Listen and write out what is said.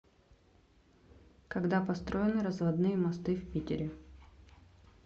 когда построены разводные мосты в питере